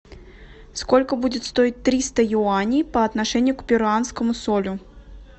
сколько будет стоить триста юаней по отношению к перуанскому солю